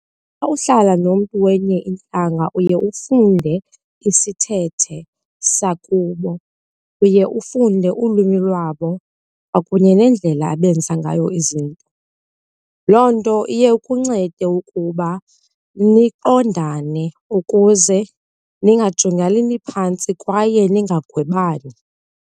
Xa uhlala nomntu wenye intlanga uye ufunde isithethe sakubo, uye ufunde ulwimi lwabo kwakunye neendlela abenza ngayo izinto. Loo nto iye ikuncede ukuba niqondane ukuze ningajongelani phantsi kwaye ningagwebani.